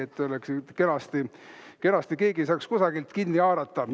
Et oleks kenasti ja keegi ei saaks kusagilt kinni haarata.